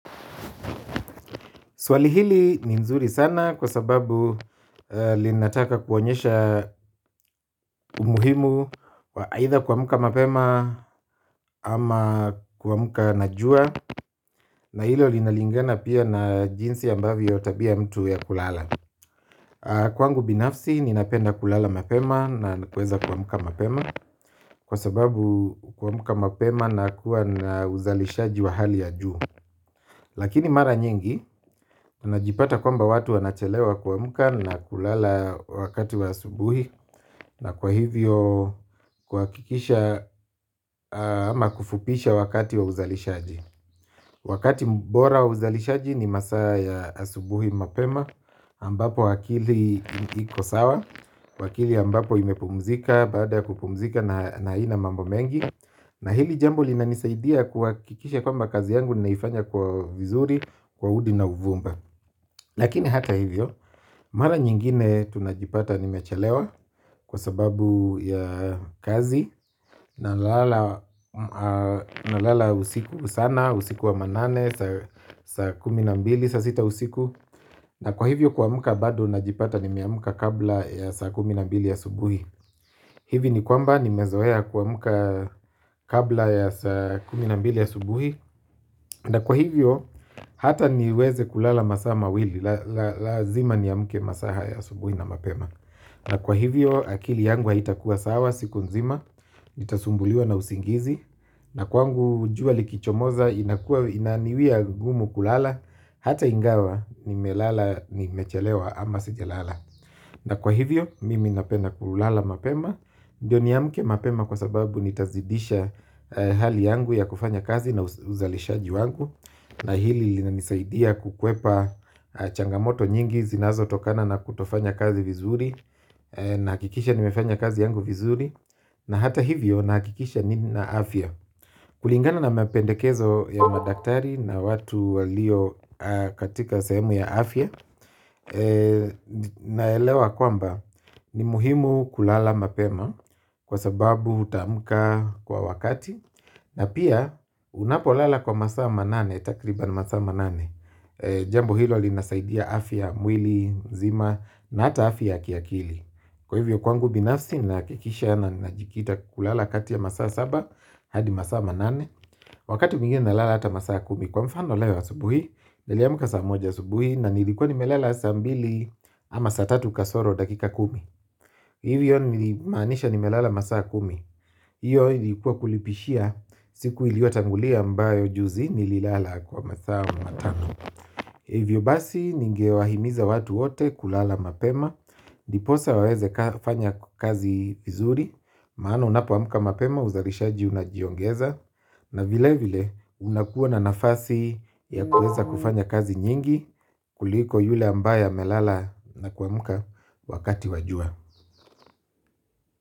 Swali hili ni nzuri sana kwa sababu linataka kuonyesha umuhimu wa aitha kuamka mapema ama kuamka na jua. Na hilo linalingana pia na jinsi ambavyo tabia ya mtu ya kulala. Kwangu binafsi ninapenda kulala mapema na kuweza kuamka mapema. Kwa sababu kuamka mapema na kuwa na uzalisha wa hali ya juu. Lakini mara nyingi unajipata kwamba watu wanachelewa kuamka na kulala wakati wa asubuhi. Na kwa hivyo kuhakikisha ama kufupisha wakati wa uzalishaji. Wakati mbora wa uzalishaji ni masa ya asubuhi mapema ambapo akili ikosawa wakili ambapo imepumzika baada ya kupumzika na ina mambo mengi. Na hili jambo linanisaidia kuhakikisha kwamba kazi yangu ninaifanya kwa vizuri, kwa hudi na uvumba. Lakini hata hivyo, mara nyingine tunajipata nimechelewa kwa sababu ya kazi. Na lala usiku sana, usiku wa manane, saa kuminambili, saa sita usiku. Na kwa hivyo kuamka bado najipata nimeamka kabla ya saa kuminambili ya subuhi. Hivi ni kwamba ni mezoea kuamka kabla ya saa kuminambili asubuhi. Na kwa hivyo hata niweze kulala masaa mawili lazima ni niamke masa haya asubuhi na mapema. Na kwa hivyo akili yangu haitakuwa sawa siku nzima. Nitasumbuliwa na usingizi. Na kwangu jua likichomoza inaniwia gumu kulala. Hata ingawa nimelala ni mechelewa ama sija lala. Na kwa hivyo mimi napenda kulala mapema ndiyo niamke mapema kwa sababu nitazidisha hali yangu ya kufanya kazi na uzalishaji wangu. Na hili linisaidia kukwepa changamoto nyingi zinazo tokana na kutofanya kazi vizuri. Na hakikisha nimefanya kazi yangu vizuri. Na hata hivyo na hakikisha nina afya. Kulingana na mapendekezo ya madaktari na watu walio katika sahemu ya afya. Naelewa kwamba ni muhimu kulala mapema. Kwa sababu utaamka kwa wakati. Na pia unapo lala kwa masaa manane takriban masaa manane. Jambo hilo linasaidia afya mwili, nzima. Na ata afya ya kiakili. Kwa hivyo kwangu binafsi na kikisha ya na najikita kulala kati ya masaa saba hadi masaa manane. Wakati mwingine nalala hata masaa kumi. Kwa mfano leo asubuhi niliamka saa moja asubuhi. Na nilikuwa nimelela saa mbili ama saa tatu kasoro dakika kumi. Hivyo nili maanisha ni melala masaa kumi. Iyo ilikuwa kulipishia siku iliotangulia ambayo juzi ni lilala kwa masaa matano. Hivyo basi ningewahimiza watu wote kulala mapema. Diposa waweze fanya kazi vizuri. Maana unapo amka mapema uzarishaji unajiongeza. Na vile vile unakuwa na nafasi ya kuweza kufanya kazi nyingi kuliko yule ambaye amelala na kuamka wakati wa jua.